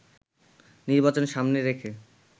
নির্বাচন সামনে রেখে